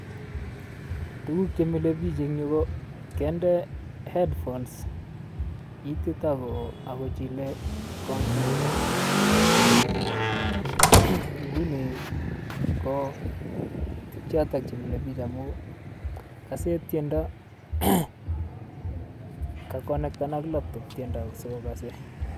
Tukuk chemile biik en yuu ko koinde headphones itiit akochilee kompyutait, ng'uni kochotok chemile biik amuu kasee tiendo, kakonekten ak laptop tiendo asikokose.